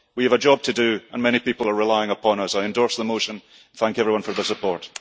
We have a job to do, and many people are relying upon us. I endorse the motion and thank everyone for their support.